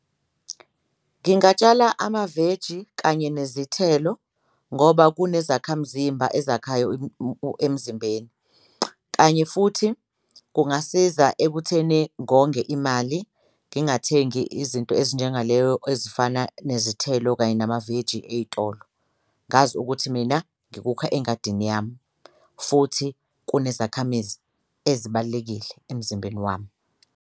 Ngingatshala amaveji kanye nezithelo ngoba kunezakhamzimba ezakhayo emzimbeni kanye futhi kungasiza ekutheni ngonge imali, ngingathengi izinto ezinjengaleyo ezifana nezithelo kanye namaveji ey'tolo. Ngazi ukuthi mina ngikukha engadini yami futhi kunezakhamizi ezibalulekile emzimbeni wami.